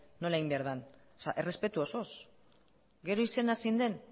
behar den errespetu osoz gero izena zein den